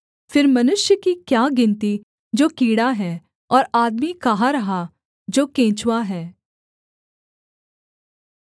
फिर मनुष्य की क्या गिनती जो कीड़ा है और आदमी कहाँ रहा जो केंचुआ है